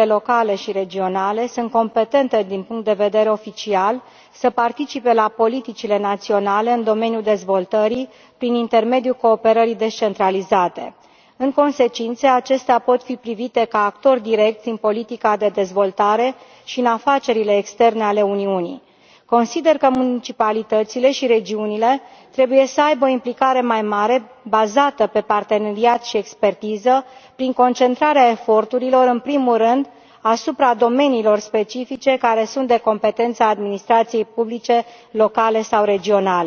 autoritățile locale și regionale sunt competente din punct de vedere oficial să participe la politicile naționale în domeniul dezvoltării prin intermediul cooperării descentralizate. În consecință, acestea pot fi privite ca actori direcți în politica de dezvoltare și în afacerile externe ale Uniunii. Consider că municipalitățile și regiunile trebuie să aibă o implicare mai mare, bazată pe parteneriat și expertiză, prin concentrarea eforturilor în primul rând asupra domeniilor specifice care sunt de competența administrației publice locale sau regionale.